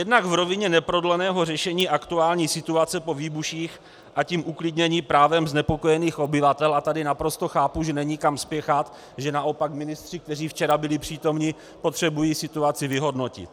Jednak v rovině neprodleného řešení aktuální situace po výbuších, a tím uklidnění právem znepokojených obyvatel - a tady naprosto chápu, že není kam spěchat, že naopak ministři, kteří včera byli přítomni, potřebují situaci vyhodnotit.